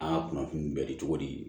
Aa kunnafoni bɛ di cogo di